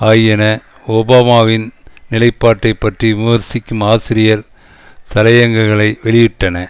ஆகியன ஒபாமாவின் நிலைப்பாட்டை பற்றி விமர்சிக்கும் ஆசிரியர் தலையங்கங்களை வெளியிட்டன